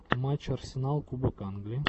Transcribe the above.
матч арсенал кубок англии